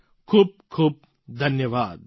ખૂબ ખૂબ ધન્યવાદ